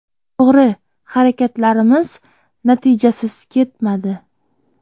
To‘g‘ri, harakatlarimiz natijasiz ketmadi.